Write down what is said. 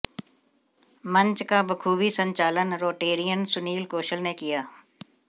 मंच का बखूबी संचालन रोटेरियन सुनील कौशल ने किया